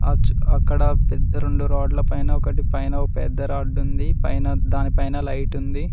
Ouch అక్కడ పెద్ద రొండు రాడ్లు పైన ఒకటి పైన ఒక పెద్ద రాడ్ ఉంది దాని పైన లైట్ ఉంది.